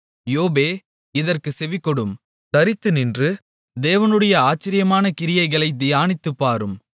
யோபே இதற்குச் செவிகொடும் தரித்துநின்று தேவனுடைய ஆச்சரியமான கிரியைகளைத் தியானித்துப்பாரும்